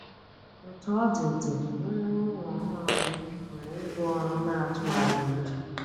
Otú ọ dị, dị, nnwere onwe ọhụrụ gị nwere ibu ọrụ na-atụgharị uche.